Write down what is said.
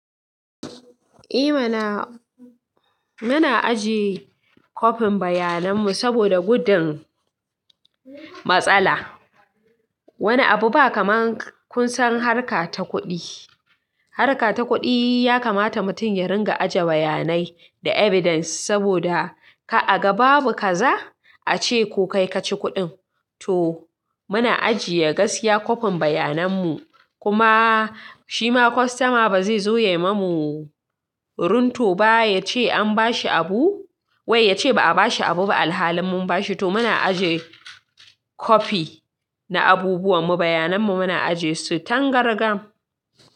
I mana, muna ajiye kopin bayanan mu saboda gudun matsala. Wani abu ba kaman kun san harka ta kuɗi. Harka ta kuɗi ya kamata mutum ya ringa ajiye bayanai da evidence saboda kar a ga babu kaza a ce ko kai ka ci kuɗin. To muna ajiye gaskiya kopin bayanan mu kuma shima kwastoma ba zai zo ya yi mamu. Runto ba ya ce an bashi abu wai ya ce ba a bashi abu ba alhalin mun bashi. To muna ajiye kopi na abubuwan mu, bayanan mu muna ajiye su tangargaam.